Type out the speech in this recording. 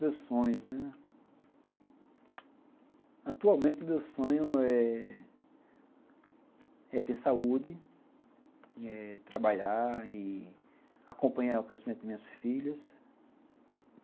Meus sonhos, né... Atualmente, o meu sonho é ter saúde eh, trabalhar e acompanhar o crescimento das minhas filhas.